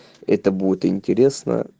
это будет интересно